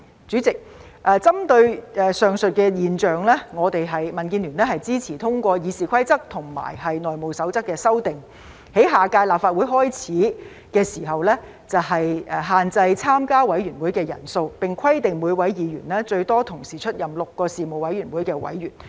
主席，針對上述現象，民主建港協進聯盟支持通過《議事規則》及《內務守則》的修訂，在下屆立法會開始時限制參加委員會的人數，並規定每位議員最多同時出任6個事務委員會委員。